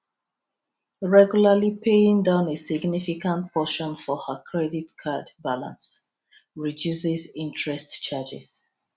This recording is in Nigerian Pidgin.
regularly paying down a significant portion for ha credit card balance reduces interest charges